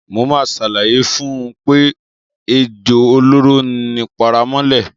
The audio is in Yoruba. Mo máa ṣàlàyé fún un pé ejò olóró ni paramọ́lẹ̀.